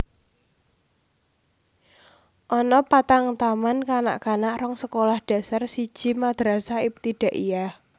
Ana patang taman kanak kanak rong sekolah dasar siji Madrasah Ibtidaiyah